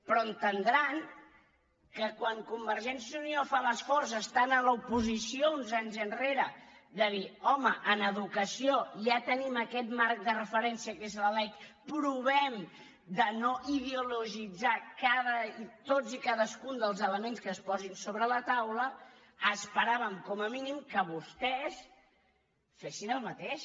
però deuen entendre que quan convergència i unió va fer l’esforç estant a l’oposició uns anys enrere de dir home en educació ja tenim aquest marc de referència que és la lec provem de no ideologitzar tots i cadascun dels elements que es posin sobre la taula esperàvem com a mínim que vostès fessin el mateix